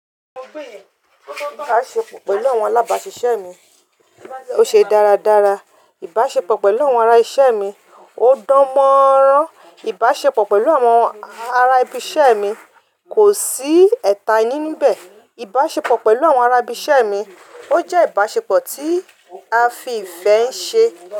Ìbáṣepọ̀ pẹ̀lú àwọn alábàáṣiṣẹ́ mi ó ṣe dáradára. Ìbáṣepọ̀ pẹ̀lú àwọn ará iṣẹ́ mi ó dánmọ́nrán. Ìbáṣepọ̀ pẹ̀lú àwọn ará ibi iṣẹ́ mi kò sí ẹ̀ta i ninú n bẹ̀. Ìbáṣepọ̀ pẹ̀lú àwọn ará ibi iṣẹ́ mi ó jẹ́ ìbáṣepọ̀ tí a fi ìfẹ́ ṣe.